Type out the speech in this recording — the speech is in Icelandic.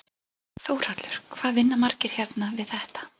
Þórhallur: Hvað vinna margir hérna við þetta?